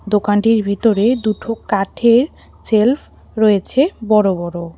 দোকানটির ভিতরে দুঠো কাঠের শেল্ফ রয়েছে বড়ো বড়ো।